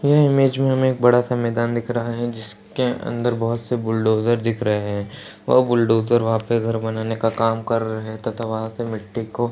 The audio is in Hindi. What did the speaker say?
यह इमेज में हमें बड़ा सा मैदान दिख रहा है जिसके अंदर बहुत से बुलडोज़र दिख रहे हैं। वह बुलडोज़र वहां पे घर बनाने का काम कर रहे हैं तथा वहां से मिटटी को --